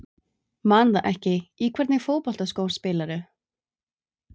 Man það ekki Í hvernig fótboltaskóm spilar þú?